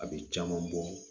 A bɛ caman bɔ